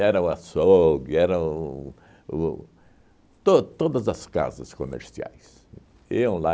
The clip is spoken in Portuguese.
o açougue, era o o to todas as casas comerciais. Iam lá